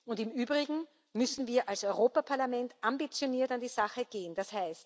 Und im Übrigen müssen wir als Europäisches Parlament ambitioniert an die Sache gehen,